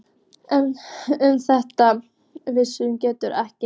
En um þetta vissi Gerður ekkert.